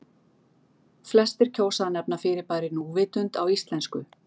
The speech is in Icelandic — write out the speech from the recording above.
Flestir kjósa að nefna fyrirbærið núvitund á íslensku.